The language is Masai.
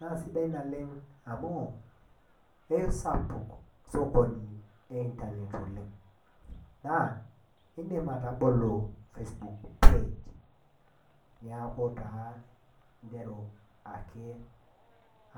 naa sidai naleng amu keisapuk sokoni enintanet naa indim atabolo Facebook page neeku taa indim ake